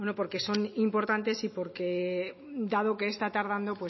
porque son importantes y porque dado que está tardando